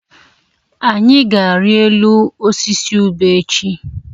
Anyị ga-arịọ elu osisi ube echi.